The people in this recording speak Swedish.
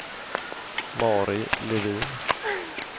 Mari Levin